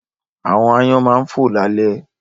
Àwọn aáyán máa ń fò lálẹ́